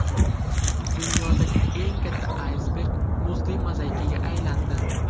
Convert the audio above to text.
Dunyodagi eng katta aysberg muzli mozaikaga aylandi .